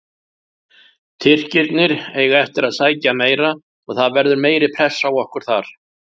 Tyrkirnir eiga eftir að sækja meira og það verður meiri pressa á okkur þar.